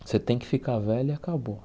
Você tem que ficar velho e acabou.